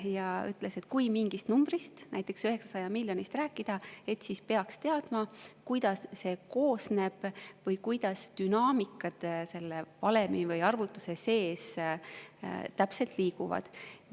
Ta ütles, et kui mingist numbrist, näiteks 900 miljonist, rääkida, siis peaks teadma, millest see koosneb või milline on dünaamika selle valemi või arvutuse sees, kuidas täpselt liiguvad.